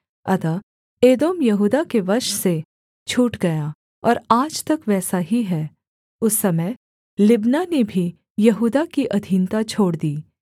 अतः एदोम यहूदा के वश से छूट गया और आज तक वैसा ही है उस समय लिब्ना ने भी यहूदा की अधीनता छोड़ दी